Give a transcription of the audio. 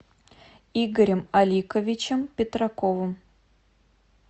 игорем аликовичем петраковым